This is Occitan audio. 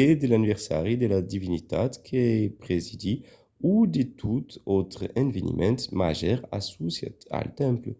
o de l'anniversari de la divinitat que presidís o de tot autre eveniment màger associat al temple